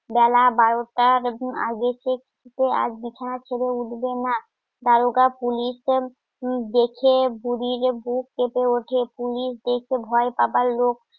বেলা বারোটার আগের থেকে আজ বিছানা ছেড়ে উঠবে না দারোগা পুলিশ দেখে বুড়ির বুক কেঁপে ওঠে পুলিশ দেখে ভয় পাবার লোক